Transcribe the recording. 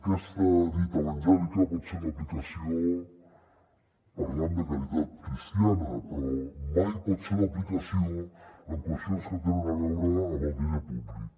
aquesta dita evangèlica pot ser d’aplicació parlant de caritat cristiana però mai pot ser d’aplicació en qüestions que tenen a veure amb el diner públic